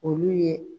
Olu ye